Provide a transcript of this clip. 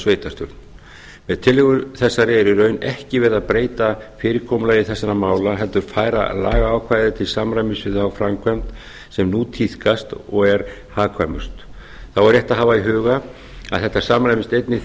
sveitarstjórn með tillögu þessari er í raun ekki verið að breyta fyrirkomulagi þessara mála heldur færa lagaákvæðið til samræmis við þá framkvæmd sem nú tíðkast og er hagkvæmust þá er rétt að hafa í huga að þetta samrýmist einnig